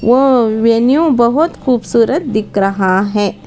वह वैन्यू बहोत खूबसूरत दिख रहा है।